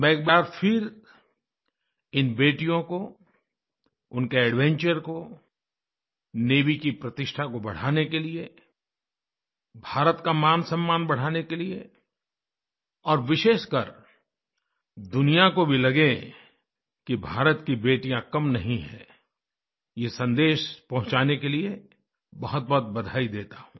मैं एक बार फिर इन बेटियों कोउनके एडवेंचर को नेवी की प्रतिष्ठा को बढ़ाने के लिए भारत का मानसम्मान बढ़ाने के लिये और विशेषकर दुनिया को भी लगे कि भारत की बेटियाँ कम नहीं हैं ये सन्देश पहुँचाने के लिए बहुतबहुत बधाई देता हूँ